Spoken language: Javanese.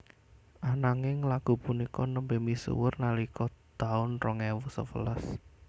Ananging lagu punika nembé misuwur nalika taun rong ewu sewelas